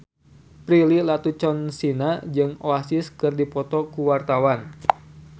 Prilly Latuconsina jeung Oasis keur dipoto ku wartawan